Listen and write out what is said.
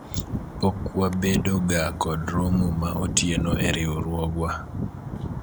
pok wabedo ga kod romo ma otieno e riwruogwa